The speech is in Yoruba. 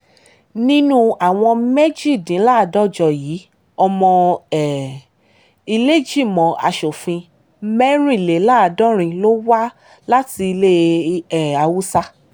nínú àwọn méjìdínláàádọ́jọ yìí ọmọ um ìlẹ́ẹ̀jìmọ̀ asòfin mẹ́rìnléláàádọ́rin ló wá láti ilẹ̀ um haúsá